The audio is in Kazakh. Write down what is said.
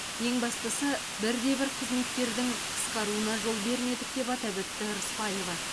ең бастысы бір де бір қызметкердің қысқаруына жол бермедік деп атап өтті рысбаева